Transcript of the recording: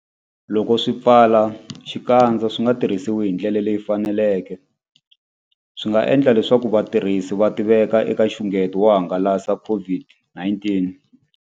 Loko swipfalaxikandza swi nga tirhisiwi hi ndlela leyi faneleke, swi nga endla leswaku vatirhisi va tiveka eka nxungeto wo hangalasa COVID-19.